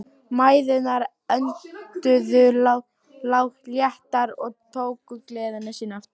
Mæðurnar önduðu léttar og tóku gleði sína aftur.